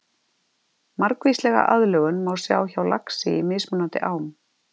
Margvíslega aðlögun má sjá hjá laxi í mismunandi ám.